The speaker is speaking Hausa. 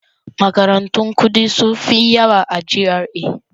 Makarantun kuɗi sun fi yawa a GRA.